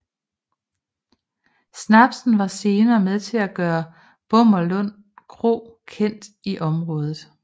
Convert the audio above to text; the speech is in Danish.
Snapsen var senere med til at gøre Bommerlund kro kendt i området